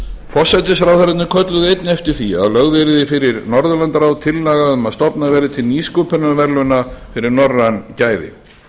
kölluðu einnig eftir því að lögð yrði fyrir norðurlandaráð tillaga um að stofnað verði til nýsköpunarverðlauna fyrir norræn gæði